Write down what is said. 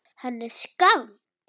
Hann er skáld.